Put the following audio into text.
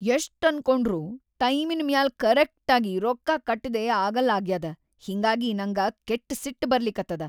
ಯಷ್ಟ್‌ ಅನ್ಕೊಂಡ್ರೂ ಟೈಮಿನ್‌ ಮ್ಯಾಲ್‌ ಕರೆಕ್ಟಾಗಿ ರೊಕ್ಕಾ ಕಟ್ಟದೇ ಆಗಲ್ಲಾಗ್ಯಾದ ಹಿಂಗಾಗಿ ನಂಗ ಕೆಟ್‌ ಸಿಟ್‌ ಬರ್ಲಿಕತ್ತದ.